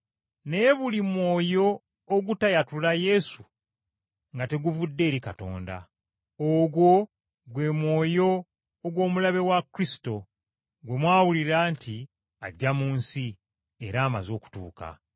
Naye buli mwoyo ogutayatula Yesu nga teguvudde eri Katonda. Ogwo gwe mwoyo ogw’Omulabe wa Kristo, gwe mwawulira nti ajja mu nsi, era amaze okutuuka.